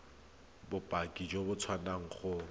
bopaki jo bo tswang go